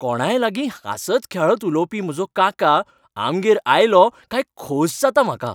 कोणाय लागीं हांसत खेळत उलोवपी म्हजो काका आमगेर आयलो काय खोस जाता म्हाका.